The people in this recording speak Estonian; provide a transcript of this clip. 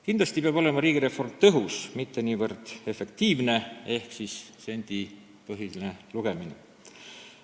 Kindlasti peab riigireform olema tõhus, mitte niivõrd efektiivne ehk vaid astutavate sammude sendipõhine lugemine.